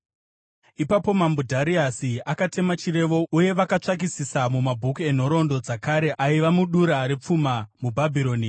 Ipapo Mambo Dhariasi akatema chirevo, uye vakatsvakisisa mumabhuku enhoroondo dzakare aiva mudura repfuma muBhabhironi.